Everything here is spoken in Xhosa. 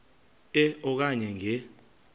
e okanye nge